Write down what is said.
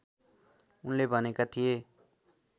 उनले भनेका थिए